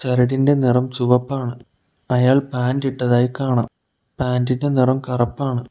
ചരടിന്റെ നെറം ചുവപ്പാണ് അയാൾ പാന്റിട്ടതായി കാണാം പാൻ്റ് ഇൻ്റെ നിറം കറപ്പാണ്.